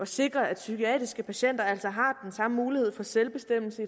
sikre at psykiatriske patienter altså har samme mulighed for selvbestemmelse